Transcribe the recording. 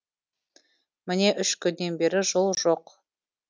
міне үш күннен бері жол жоқ